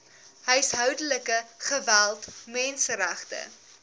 huishoudelike geweld menseregte